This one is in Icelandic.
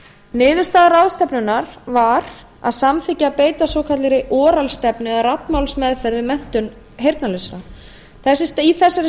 niðurstaða ráðstefnunnar var að samþykkja að beita svokallaðri oral stefnu eða raddmálsaðferð við menntun heyrnarlausra í þessari